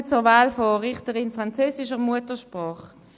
Ich komme zur Wahl der Richterin französischer Muttersprache.